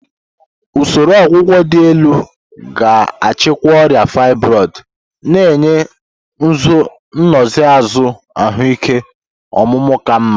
Usoro ọgwụgwọ dị elu ga-achịkwa ọrịa fibroid, na-enye nsonaazụ ahụike ọmụmụ ka mma.